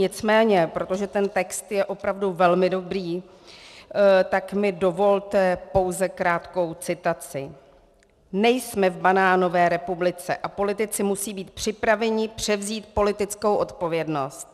Nicméně protože ten text je opravdu velmi dobrý, tak mi dovolte pouze krátkou citaci: Nejsme v banánové republice a politici musí být připraveni převzít politickou odpovědnost.